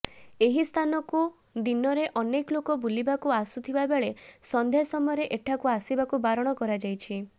ଏହି ସ୍ଥାନକୁ ଦିନରେ ଅନେକ ଲୋକ ବୁଲିବାକୁ ଆସୁଥିବା ବେଳେ ସନ୍ଧ୍ୟା ସମୟରେ ଏଠାକୁ ଆସିବାକୁ ବାରଣ କରାଯାଇଛି